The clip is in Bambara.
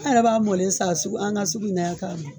An yɛrɛ b'a mɔlen san sugu an ga sugu in na yan k'a mi